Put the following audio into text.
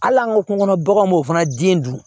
Hali an ka kungo kɔnɔ baganw m'o fana den dun